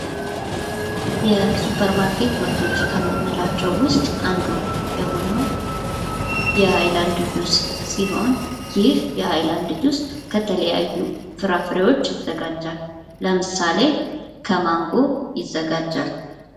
የሱፐርማርኬ ምርቶች ከምንላቸው ውስጥ አንዱ የሆነው የሀይላንድ ጁስ ሲሆን ይህ የሀይላንድ ጁስ ከተለያዩ ፍራፍሬዎች ይዘጋጃል። ለምሳሌ ከማንጎ ይዘጋጃል።